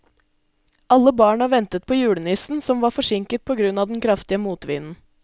Alle barna ventet på julenissen, som var forsinket på grunn av den kraftige motvinden.